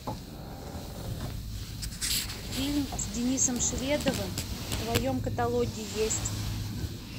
фильм с денисом шведовым в твоем каталоге есть